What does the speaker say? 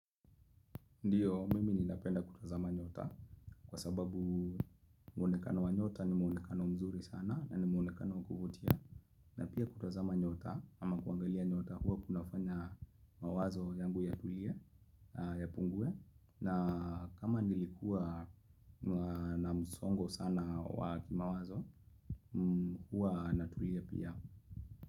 Ndiyo, mimi ninapenda kutazama nyota kwa sababu muonekano wa nyota ni muonekano mzuri sana na ni muonekano wa kuvutia. Na pia kutazama nyota ama kuangalia nyota huwa kunafanya mawazo yangu yatulie yapungue. Na kama nilikuwa na msongo sana wa kimawazo huwa natulia pia.